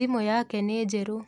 Thimũ yake nĩ njerũ.